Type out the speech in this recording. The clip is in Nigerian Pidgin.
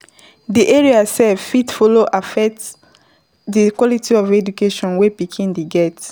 Di area sef follow fit affect di quality of of education wey pikin dey get